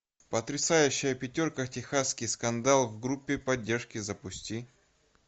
потрясающая пятерка техасский скандал в группе поддержки запусти